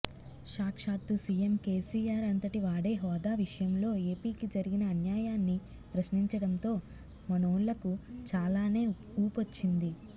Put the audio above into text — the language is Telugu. సాక్షాత్తూ సీఎం కేసీఆర్ అంతటివాడే హోదా విషయంలో ఏపీకి జరిగిన అన్యాయాన్ని ప్రశ్నించడంతో మనోళ్లకు చాలానే ఊపొచ్చింది